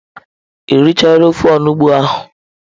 Ị richaala ofe onugbu ahụ?